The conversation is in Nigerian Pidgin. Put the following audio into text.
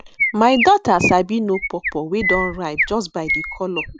my daughter sabi know pawpaw wey don ripe just by di colour